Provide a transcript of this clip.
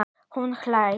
Hún hlær.